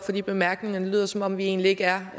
de bemærkninger det lyder som om vi egentlig ikke er